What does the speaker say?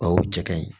O y'o jɛkɛ ye